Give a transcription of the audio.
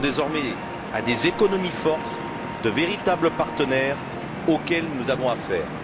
ce sont désormais à des économies fortes, de véritables partenaires auxquels nous avons affaire.